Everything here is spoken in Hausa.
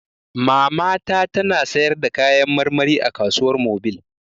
Mamata ta na sayarda kayan marmari a kasuwar mobil